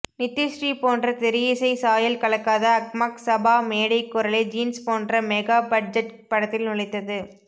நித்யஶ்ரீ போன்ற திரையிசைச் சாயல் கலக்காத அக்மார்க் சபா மேடைக் குரலை ஜீன்ஸ் போன்ற மெகா பட்ஜெட் படத்தில் நுழைத்தது